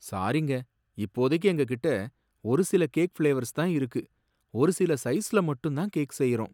சாரிங்க, இப்போதைக்கு எங்ககிட்ட ஒருசில கேக் ஃபிளேவர்ஸ்தான் இருக்கு, ஒருசில சைஸ்ல மட்டும்தான் கேக் செய்றோம்.